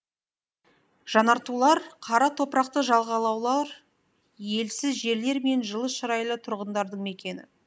жанартулар қара топырақты жағалаулар елсіз жерлер мен жылы шырайлы тұрғындардың мекені